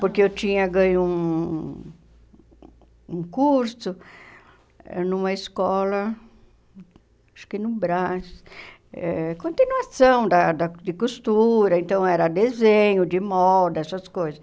Porque eu tinha ganho um curso numa escola, acho que no Brás, eh continuação da da de costura, então era desenho de moda, essas coisas.